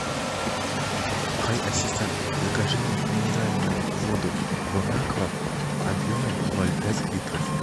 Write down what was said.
хай ассистент закажи мне минеральную воду бонаква объемом ноль пять литров